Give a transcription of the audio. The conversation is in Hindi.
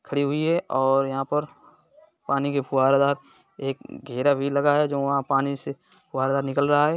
खड़ी हुई है और यहाँ पर पानी के फुव्वारादार एक घेरा भी लगा है जो वहाँ पानी से फुहारा निकल रहा है।